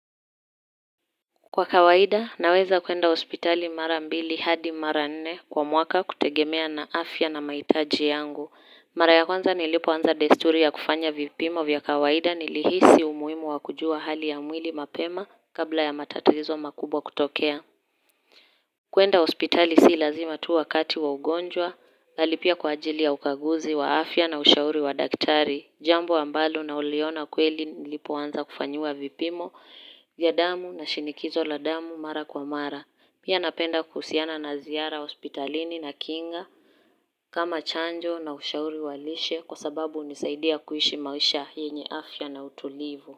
Kwa kawaida naweza kuenda ospitali mara mbili hadi mara nne kwa mwaka kutegemea na afya na maitaji yangu. Mara ya kwanza nilipo anza desturi ya kufanya vipimo vya kawaida nilihisi umuimu wakujua hali ya mwili mapema kabla ya matatizo makubwa kutokea. Kuenda ospitali si lazima tu wakati wa ugonjwa, lalipia kwa ajili ya ukaguzi wa afya na ushauri wa daktari, jambo ambalo nauliona kweli nilipoanza kufanyiwa vipimo, ya damu na shinikizo la damu mara kwa mara, pia napenda kuhusiana na ziara ospitalini na kinga, kama chanjo na ushauri walishe kwa sababu unisaidia kuishi mawisha yenye afya na utulivu.